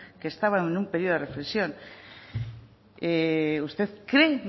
que estaba en un periodo de reflexión usted cree